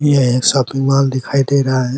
यह एक shopping mall दिखाई दे रहा है।